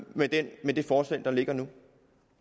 med det med det forslag der ligger nu